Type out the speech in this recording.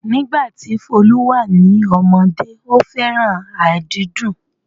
Nígbà tí Folu wà ní ọmọdé, ó fẹ́ràn àdídùn